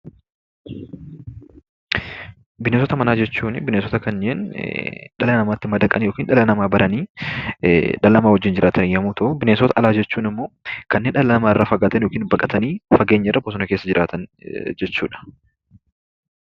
Bineensota manaa jechuun bineensota kanneen dhala namaatti madaqanii yookiin dhala namaa baranii dhala namaa wajjin jiraatan yommuu ta'u, bineensota alaa jechuun ammoo kanneen dhala namaarraa fagaatanii yookiin immoo baqatanii fageenya irra bosona keessa jiraatan jechuudha.